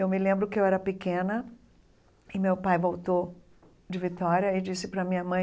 Eu me lembro que eu era pequena e meu pai voltou de Vitória e disse para minha mãe